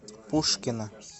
пушкино